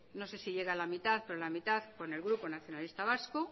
no se si llega a la mitad pero la mitad con el grupo nacionalistas vascos